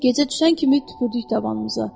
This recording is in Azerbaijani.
Gecə düşən kimi tüpürdük tavanımıza.